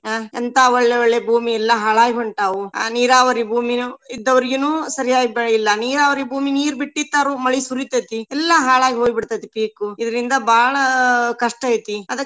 ಅಹ್ ಎಂತಾ ಒಳ್ಳೆ ಒಳ್ಳೆ ಭೂಮಿ ಎಲ್ಲಾ ಹಾಳಾಗಿ ಹೊಂಟಾವು. ಅಹ್ ನೀರಾವರಿ ಭೂಮಿನು ಇದ್ದವ್ರಿಗುನು ಸರಿಯಾಗಿ ಬೆಳಿ ಇಲ್ಲಾ. ನೀರಾವರಿ ಭೂಮಿ ನೀರ್ ಬಿಟ್ಟಿರ್ತಾರು ಮಳಿ ಸುರಿತೇತಿ. ಎಲ್ಲಾ ಹಾಳಾಗಿ ಹೋಗಿ ಬಿಡ್ತೇತಿ ಪೀಕು. ಇದ್ರಿಂದ ಬಾಳ ಕಷ್ಟ ಐತಿ.